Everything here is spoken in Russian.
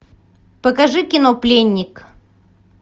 покажи кино пленник